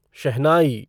शहनाई